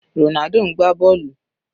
Ronaldo ń gbá bọ́ọ̀lù.